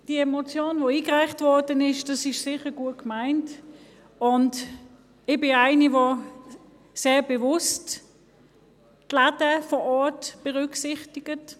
– Die eingereichte Motion ist sicher gut gemeint, und ich bin jemand, der sehr bewusst die Läden vor Ort berücksichtigt.